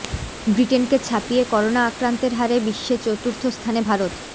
ব্রিটেনকে ছাপিয়ে করোনা আক্রান্তের হারে বিশ্বে চতুর্থ স্থানে ভারত